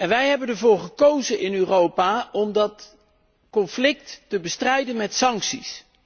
Wij hebben ervoor gekozen in Europa om dat conflict te bestrijden met sancties.